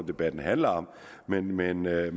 og debatten handler om men men jeg